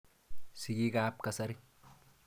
Sigik ap kasari.